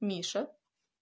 миша